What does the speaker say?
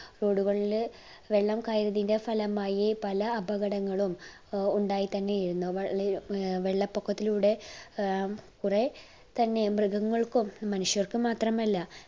road കളിൽ വെള്ളം കയറിയതിന്റെ ഫലമായി പല അപകടങ്ങളും ഏർ ഉണ്ടായിത്തന്നെ ഇരുന്നു വെളി ഏർ വെള്ളപൊക്കത്തിലൂടെ ഏർ കുറെ തന്നെ മൃഗങ്ങൾക്കും മനുഷ്യർക്ക് മാത്രമല്ല